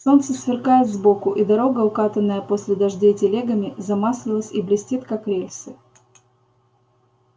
солнце сверкает сбоку и дорога укатанная после дождей телегами замаслилась и блестит как рельсы